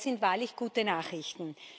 Und das sind wahrlich gute Nachrichten.